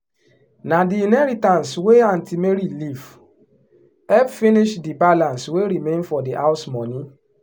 na the inheritance wey aunty mary leave help finish the balance wey remain for the house money.